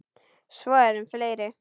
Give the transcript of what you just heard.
Svo er um fleiri.